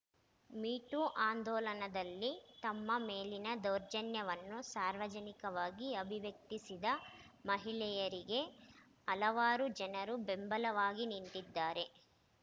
me too ಆಂದೋಲನದಲ್ಲಿ ತಮ್ಮ ಮೇಲಿನ ದೌರ್ಜನ್ಯವನ್ನು ಸಾರ್ವಜನಿಕವಾಗಿ ಅಭಿವ್ಯಕ್ತಿಸಿದ ಮಹಿಳೆಯರಿಗೆ ಹಲವಾರು ಜನರು ಬೆಂಬಲವಾಗಿ ನಿಂತಿದ್ದಾರೆ